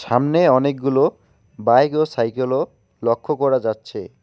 সামনে অনেকগুলো বাইক ও সাইকেলও লক্ষ্য করা যাচ্ছে।